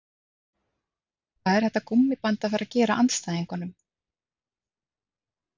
Hvað er þetta gúmmíband að fara að gera andstæðingunum?